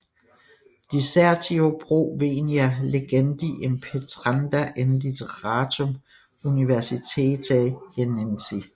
Dissertio pro venia legendi impetranda in litterarum universitate Jenensi